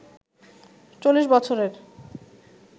৪০ বছরের